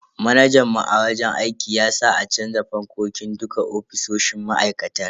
Manajan mu a wajen aiki ya sa a canza fankokin dukka ofisoshin ma'aikatar.